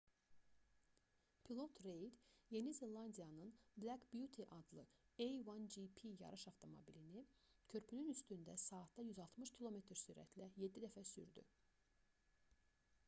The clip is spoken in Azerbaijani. pilot reid yeni zelandiyanın black beauty adlı a1gp yarış avtomobilini körpünün üstündə saatda 160 km sürətlə 7 dəfə sürdü